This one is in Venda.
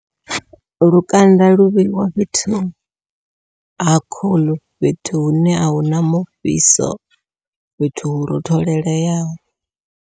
Lukanda lu vheiwa fhethu ha khuḽu, fhethu hune ahuna mufhiso fhethu hu rothololeaho.